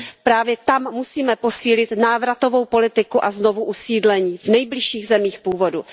Právě tam musíme posílit návratovou politiku a znovuusídlení v nejbližších zemích původu.